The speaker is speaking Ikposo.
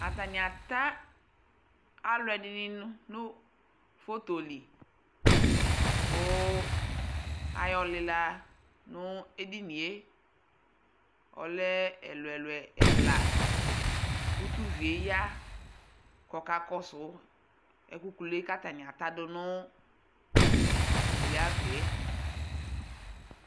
atani ata alo ɛdini no foto li ko ayɔ lela no edinie ɔlɛ ɛlo ɛlo ɛla ko to uvie ya ko ɔka kɔso ɛko kulue ko atani ata do no uglie ava yɛ